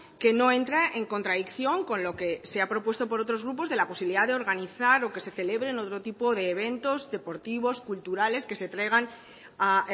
que no entra en contradicción con lo que se ha propuesto por otros grupos de la posibilidad de organizar o que se celebren otro tipo de eventos deportivos culturales que se traigan a